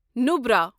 Nubra